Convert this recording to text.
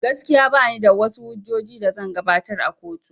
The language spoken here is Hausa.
Gaskiya banida wash hujjojin da zan gabatar a kotu